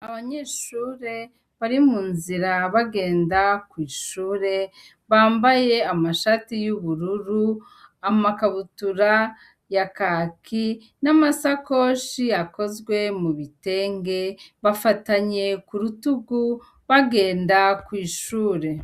Abanyeshure bari munzira bagenda kwishure bambaye amashati yubururu amakabutura ya kaki nama sakoshi akozwe mu bitenge bafatanye kurutugu bagenda kwishure